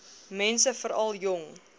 mense veral jong